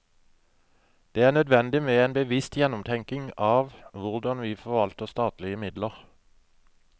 Det er nødvendig med en bevisst gjennomtenkning av hvordan vi forvalter statlige midler.